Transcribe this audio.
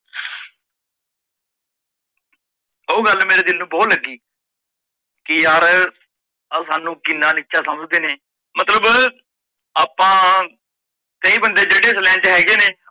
ਓਹ ਗੱਲ ਮੇਰੇ ਦਿੱਲ ਨੂੰ ਬਹੁਤ ਲੱਗੀ ਕੀ ਯਾਰ ਆ ਸਾਨੂੰ ਕਿੰਨਾ ਨੀਚਾ ਸਮਝਦੇ ਨੇ ਮਤਲਬ ਆਪਾਂ ਕਈ ਬੰਦੇ ਜੇੜੇ ਇਸ ਲੈਣ ਚ ਹੈਗੇ ਨੇ,